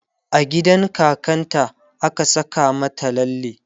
a gidan kakan ta a ka Saka mata lalle